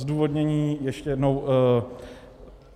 Zdůvodnění, ještě jednou.